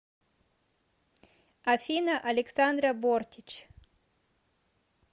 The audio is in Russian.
афина александра бортич